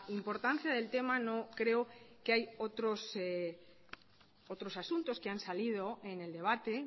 importancia del tema no creo que hay otros otros asuntos que han salido en el debate